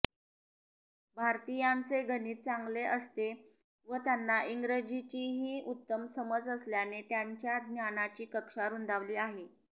भारतीयांचे गणित चांगले असते व त्यांना इंग्रजीचीही उत्तम समज असल्याने त्यांच्या ज्ञानाची कक्षा रूंदावली आहे